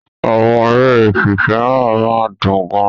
Àwọn eré ìfìfẹ́hàn máa ń dùn gan-an.